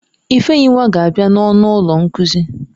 Ifeyinwa ga-abia n'ọnụ ụlọ nkuzi.